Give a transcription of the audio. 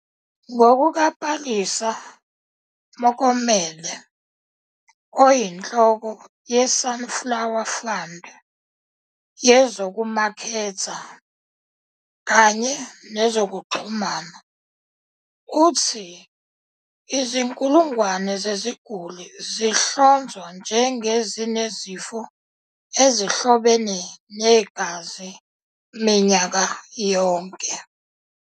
Ngokuka-Palesa Mokomele, oyinhloko yeSunflower Fund yezokumaketha kanye nezokuxhumana, uthi izinkulungwane zeziguli zihlonzwa njengezinezifo ezihlobene negazi minyaka yonke.